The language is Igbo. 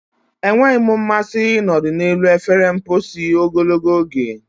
Enweghị m mmasị ịnọdụ n'elu efere mposi ogologo oge.